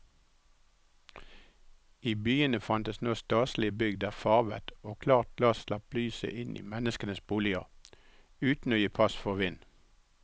I byene fantes nå staselige bygg der farvet og klart glass slapp lyset inn i menneskenes boliger uten å gi pass for vind.